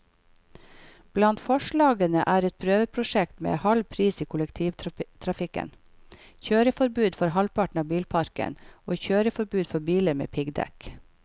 Blant forslagene er et prøveprosjekt med halv pris i kollektivtrafikken, kjøreforbud for halvparten av bilparken og kjøreforbud for biler med piggdekk.